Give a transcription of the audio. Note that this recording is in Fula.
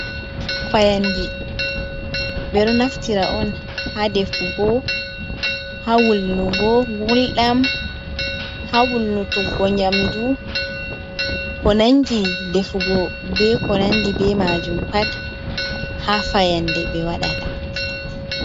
Fayande: Ɓeɗo naftira on ha wulnugo gulɗam, ha wulnutuggo nyamdu, ko nangi defugo be ko nangi be majum pat ha fayande be waɗata.